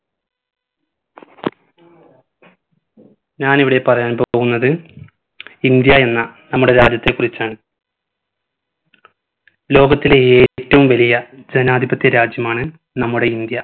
ഞാനിവിടെ പറയാൻ പോകുന്നത് ഇന്ത്യ എന്ന നമ്മുടെ രാജ്യത്തെ കുറിച്ചാണ് ലോകത്തിലെ ഏറ്റവും വലിയ ജനാധിപത്യ രാജ്യമാണ് നമ്മുടെ ഇന്ത്യ